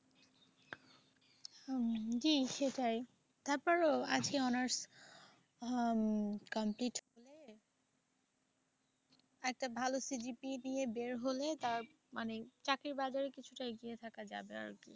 হম জি সেটাই। তারপরেও ভাবছি অনার্স হম complete করে একটা ভালো CGPA নিয়ে বের হলে তার মানে চাকরির বাজারে কিছুটা এগিয়ে থাকা যাবে আর কি।